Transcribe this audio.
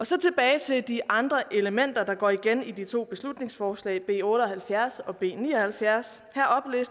så tilbage til de andre elementer der går igen i to beslutningsforslag b otte og halvfjerds og b ni og halvfjerds her